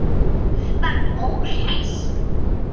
Var hún óhress?